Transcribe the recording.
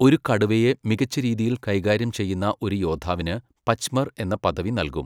ഒരു കടുവയെ മികച്ച രീതിയിൽ കൈകാര്യം ചെയ്യുന്ന ഒരു യോദ്ധാവിന് പച്മർ എന്ന പദവി നൽകും.